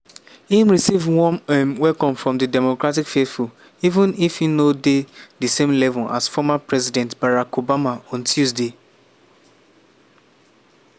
im receive warm um welcome from di democratic faithful even if e no dey di same level as former president barack obama on tuesday night.